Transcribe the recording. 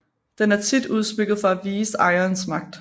Den er tit udsmykket for at vise ejerens magt